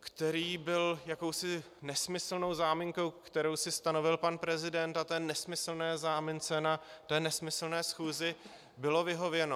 který byl jakousi nesmyslnou záminkou, kterou si stanovil pan prezident, a té nesmyslné zámince na té nesmyslné schůzi bylo vyhověno...